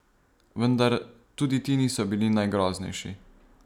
Vendar tudi ti niso bili najgroznejši.